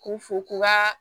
K'u fo k'u ka